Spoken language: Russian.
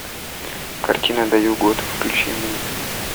картина даю год включи мне